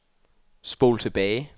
spol tilbage